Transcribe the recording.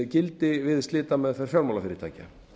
gildi við slitameðferð fjármálafyrirtækja